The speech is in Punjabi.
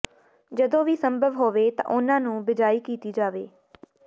ਜਦੋਂ ਵੀ ਸੰਭਵ ਹੋਵੇ ਤਾਂ ਉਹਨਾਂ ਨੂੰ ਬਿਜਾਈ ਕੀਤਾ ਜਾਵੇ